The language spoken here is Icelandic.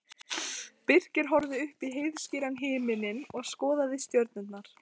Birkir horfði upp í heiðskíran himininn og skoðaði stjörnurnar.